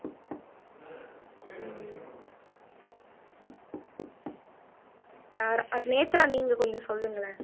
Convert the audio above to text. ஆஹ் அஹ் நேத்ரா நீங்க கொஞ்சம் சொல்லுங்களேன்